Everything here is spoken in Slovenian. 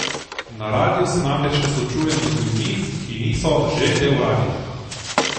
Na radiu se namreč ne srečujemo z ljudmi, ki niso že del radia.